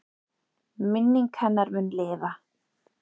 Minning hennar mun lifa.